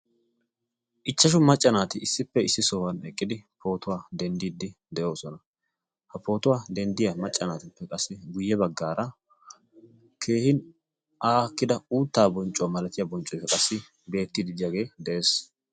ichchashu macca naati issippe issi sohuwan eqqidi pootuwaa denddiiddi de7oosona. ha pootuwaa denddiyaa maccanaatippe qassi guyye baggaara keehin aakkida uuttaa bonccuwaa malatiyaa bonccuwa qassi beettididdiyaagee de7ees.